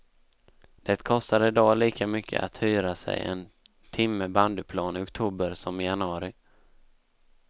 Det kostar i dag lika mycket att hyra sig en timme bandyplan i oktober som i januari.